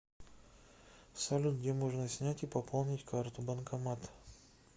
салют где можно снять и пополнить карту банкомат